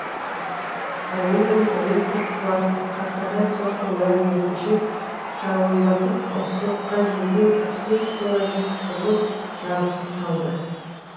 кореяның электр қуаты корпорациясының мәліметінше жауындатып соққан желден қырық бес мыңға жуық тұрғын жарықсыз қалды